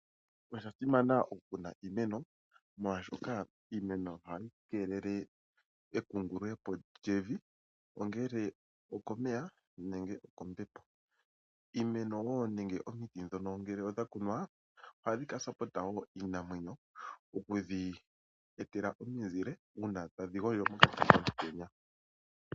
Osha simana oku kuna iimeno molwaashoka iimeno ohayi keelele e kungulule po lyevi ongele okomeya nenge okombepo. Iimeno woo nenge omiti dhono ngele odha kunwa ohadhi ka yambidhidha woo iinamwenyo oku dhi e tela omuzile uuna tadhi gondjo mpoka pena omutenya.